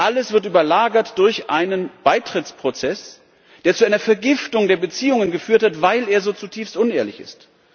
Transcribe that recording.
Doch alles wird überlagert durch einen Beitrittsprozess, der zu einer Vergiftung der Beziehungen geführt hat, weil er so zutiefst unehrlich ist.